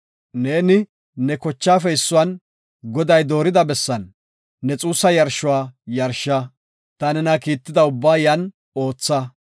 Neeni, ne kochaafe issuwan, Goday doorida bessan, ne xuussa yarshuwa yarsha; ta nena kiitida ubbaa yan ootha.